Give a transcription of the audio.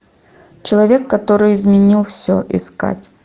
человек который изменил все искать